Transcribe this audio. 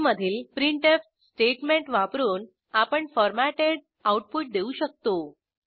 C मधील printf statement वापरून आपण फॉरमॅटेड आऊटपुट देऊ शकतो